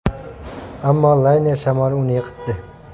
Ammo layner shamoli uni yiqitdi.